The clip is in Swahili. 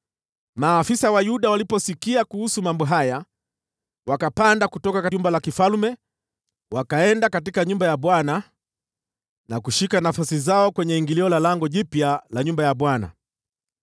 Maafisa wa Yuda waliposikia kuhusu mambo haya, wakapanda kutoka jumba la kifalme, wakaenda katika nyumba ya Bwana na kushika nafasi zao kwenye ingilio la Lango Jipya la nyumba ya Bwana .